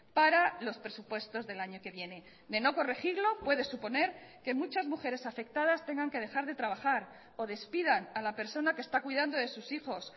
para los presupuestos del año que viene de no corregirlo puede suponer que muchas mujeres afectadas tengan que dejar de trabajar o despidan a la persona que está cuidando de sus hijos